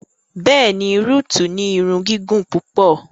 Bẹ́ẹ̀ni, Ruth ni ìrun gigun pupọ